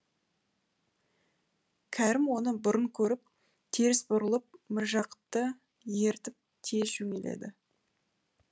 кәрім оны бұрын көріп теріс бұрылып міржақыпты ертіп тез жөнеледі